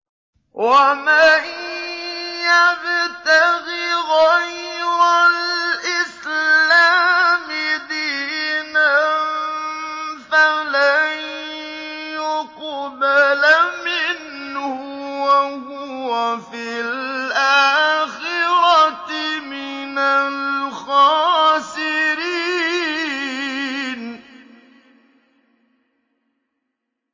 وَمَن يَبْتَغِ غَيْرَ الْإِسْلَامِ دِينًا فَلَن يُقْبَلَ مِنْهُ وَهُوَ فِي الْآخِرَةِ مِنَ الْخَاسِرِينَ